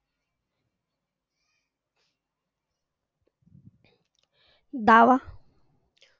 दावा